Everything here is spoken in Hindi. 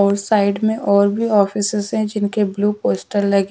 और साइड में और भी ऑफिसेस है जिनके ब्लू पोस्टल है।